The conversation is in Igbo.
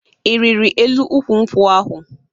Ị rịrị elu ukwu nkwụ ahụ?